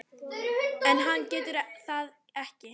En hann getur það ekki.